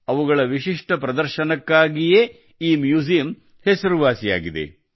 ಅವುಗಳ ವಿಶಿಷ್ಟ ಪ್ರದರ್ಶನಕ್ಕಾಗಿಯೇ ಈ ಮ್ಯೂಜಿಯಮ್ ಹೆಸರುವಾಸಿಯಾಗಿದೆ